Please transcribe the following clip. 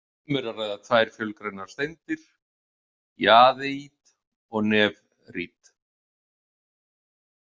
Um er að ræða tvær fölgrænar steindir, jaðeít og nefrít.